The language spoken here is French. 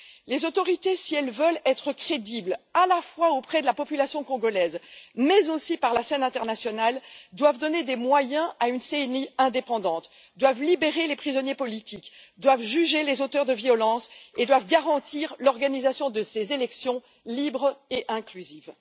Les autorités, si elles veulent être crédibles, à la fois auprès de la population congolaise, mais aussi sur la scène internationale, doivent donner des moyens à une CENI indépendante, doivent libérer les prisonniers politiques, doivent juger les auteurs de violences et doivent garantir l'organisation de ces élections, libres et inclusives.